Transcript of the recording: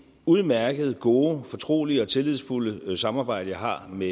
udmærkede gode fortrolige og tillidsfulde samarbejde jeg har med